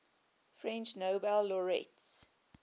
french nobel laureates